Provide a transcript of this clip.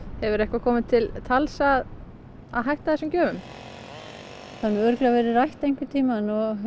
hefur eitthvað komið til tals að að hætta þessum gjöfum það hefur örugglega verið rætt einhvern tímann